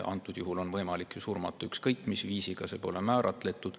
Antud juhul on võimalik surmata ükskõik mis viisil, see pole määratletud.